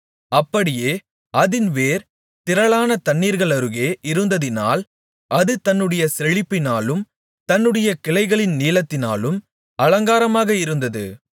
அப்படியே அதின் வேர் திரளான தண்ணீர்களருகே இருந்ததினால் அது தன்னுடைய செழிப்பினாலும் தன்னுடைய கிளைகளின் நீளத்தினாலும் அலங்காரமாக இருந்தது